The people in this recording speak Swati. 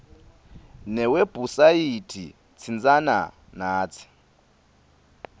newebhusayithi tsintsana natsi